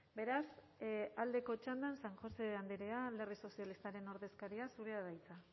beraz aldeko txandan san josé andrea alderdi sozialistaren ordezkaria zurea da hitza